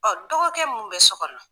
Ɔn dɔgɔkɛ mun bɛ so kɔnɔ.